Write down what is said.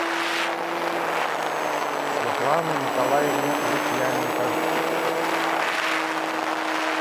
светлану николаевну лукьяненко